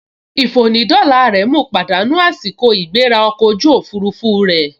Ìfònídọ́la rẹ̀ mu pàdánù àsìkò ìgbéra ọkọ̀ ojú òfurufú rẹ̀